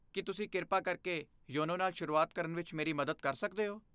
ਕੀ ਤੁਸੀਂ ਕਿਰਪਾ ਕਰਕੇ ਯੋਨੋ ਨਾਲ ਸ਼ੁਰੂਆਤ ਕਰਨ ਵਿੱਚ ਮੇਰੀ ਮਦਦ ਕਰ ਸਕਦੇ ਹੋ?